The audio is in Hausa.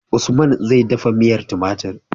Usman zai dafa miyar tumatir